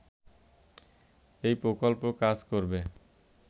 এই প্রকল্প কাজ করবে